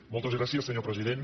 moltes gràcies senyor president